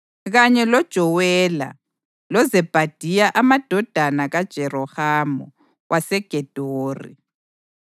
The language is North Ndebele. kanye loJowela loZebhadiya amadodana kaJerohamu waseGedori.